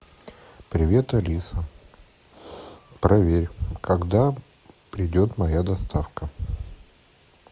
привет алиса проверь когда придет моя доставка